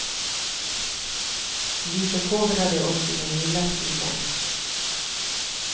Vi förkovrade oss i den lilla stilen.